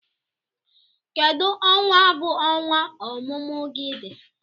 Kedu onwa bu ọnwa ọmụmụ gị dị?